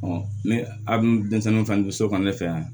ne a dun denmisɛnninw fɛ n'u don so kan ne fɛ yan